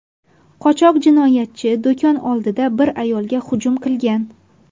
Qochoq jinoyatchi do‘kon oldida bir ayolga hujum qilgan.